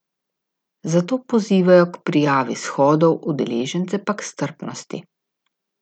Zato pozivajo k prijavi shodov, udeležence pa k strpnosti.